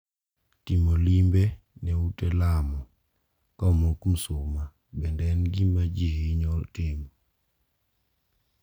Timo limbe ne ute lamo ka omok msuma bende en gima ji hinyo timo.